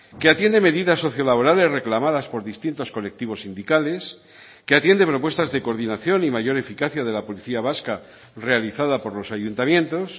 que atiende medidas socio laborales reclamadas por distintos colectivos sindicales que atiende propuestas de coordinación y mayor eficacia de la policía vasca realizada por los ayuntamientos